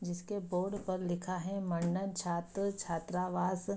जिसके बोर्ड पर लिखा है छात्र छात्रावास --